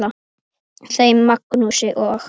Þeim Magnúsi og